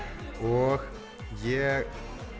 og ég